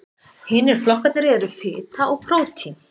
hinir flokkarnir eru fita og prótín